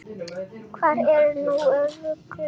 Hvað ertu nú að rugla!